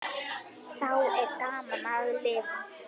Þá er gaman að lifa!